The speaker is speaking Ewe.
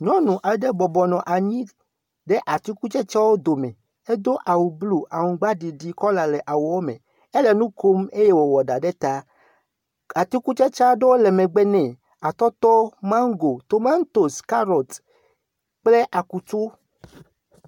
Nyɔnu aɖe bɔbɔnɔ anyi ɖe atikutsetsewo dome hedo awu blu aŋgbaɖiɖi kɔla le awuawo me. ele nu kom eye wowɔ ɖa ɖe ta. Atikutsetse aɖewo le megbe nɛ. Atɔtɔ, mago, tomatosi, kaɖɔt kple akutu